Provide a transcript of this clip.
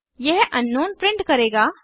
यह अंकनाउन प्रिंट करेगा